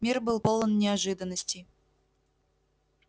мир был полон неожиданностей